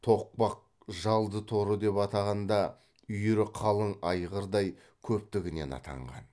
тоқпақ жалды торы деп атағанда үйірі қалың айғырдай көптігінен атанған